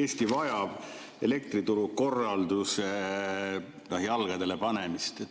Eesti vajab elektriturukorralduse jalgadele panemist.